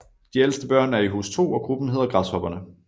De ældste børn er i Hus 2 og gruppen hedder Græshopperne